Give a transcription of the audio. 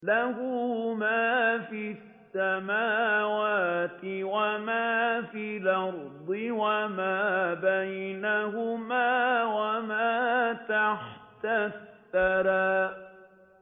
لَهُ مَا فِي السَّمَاوَاتِ وَمَا فِي الْأَرْضِ وَمَا بَيْنَهُمَا وَمَا تَحْتَ الثَّرَىٰ